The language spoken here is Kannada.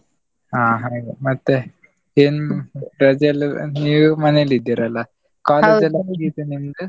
ಅಹ್ ಹಾಗೆ ಮತ್ತೆ ಏನ್ ರಜೆಯೆಲ್ಲಾ ನೀವು ಮನೆಯಲ್ಲಿದ್ದೀರಲ್ಲ, ಮುಗಿತಾ ನಿಮ್ದು?